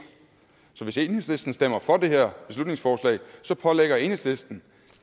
så hvis enhedslisten stemmer for det her beslutningsforslag pålægger enhedslisten